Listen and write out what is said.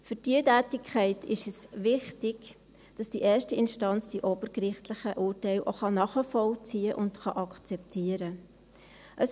Für diese Tätigkeit ist es wichtig, dass die erste Instanz die obergerichtlichen Urteile auch nachvollziehen und akzeptieren kann.